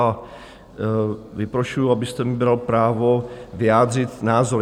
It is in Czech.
A vyprošuju, abyste mi bral právo vyjádřit názor.